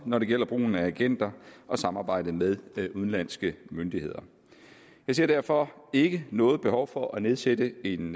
når det gælder brugen af agenter og samarbejdet med udenlandske myndigheder jeg ser derfor ikke noget behov for at nedsætte en